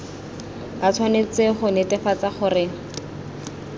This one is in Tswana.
ba tshwanetse go netefatsa gore